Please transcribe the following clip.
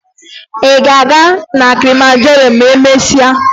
Ị ga-aga na Kilimanjaro ma emesịa?